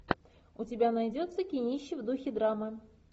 у тебя найдется кинище в духе драмы